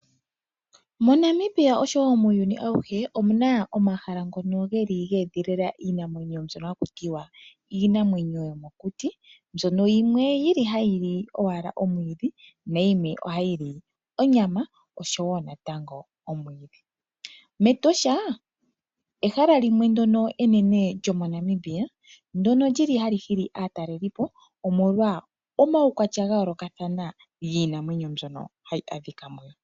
MoNamibia osho woo muuyuni ayihe omuna omahala ngono geli geedhilila iinamwenyo mbyoka haku tiwa iinamwenyo yomokuti mbyono yili owala hayi li owala omwiidhi nayimwe ohayi li onyama osho woo natango omwiidhi. Metosha ehala limwe lyono enene moNamibia lyono lyili hali hili aataleliipo omolwa omaukwalya ngono geli gayoolokathana giinamwenyo mbyono hayi a dhika mono.